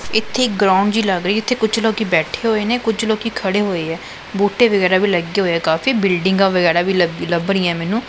ਇੱਥੇ ਇੱਕ ਗਰਾਊਂਡ ਜਿਹੀ ਲੱਗ ਰਹੀ ਜਿੱਥੇ ਕੁੱਛ ਲੋਕੀ ਬੈਠੇ ਹੋਏ ਨੇਂ ਕੁੱਛ ਲੋਕੀ ਖੜੇ ਹੋਇਆ ਬੂਟੇ ਵਗੈਰਾ ਵੀ ਲੱਗੇ ਹੋਇਆ ਕਾਫੀ ਬਿਲਡਿੰਗਾਂ ਵਗੈਰਾ ਵੀ ਲ ਲੱਭ ਰਹੀਆਂ ਮੈਨੂੰ।